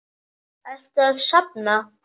Ertu að safna?